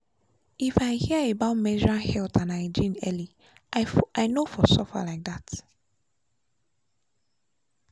if i hear about menstrual health and hygiene early i no for suffer like that.